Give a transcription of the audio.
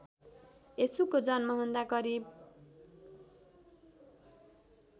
यशुको जन्मभन्दा करिब